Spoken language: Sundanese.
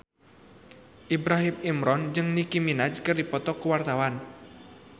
Ibrahim Imran jeung Nicky Minaj keur dipoto ku wartawan